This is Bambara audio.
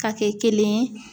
Ka kɛ kelen ye